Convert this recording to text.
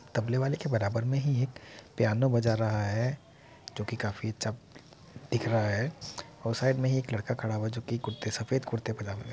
तबले वाले के बराबर में ही एक पियानो बजा रहा है जोकि काफी अच्छा दिख रहा है और साइड में ही एक लड़का खड़ा हुआ है जो कि कुर्ते सफेद कुर्ते पाजामे में --